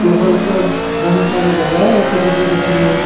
टेबल पर घणी सारी दवाईयां रखी थकी दिख रही है।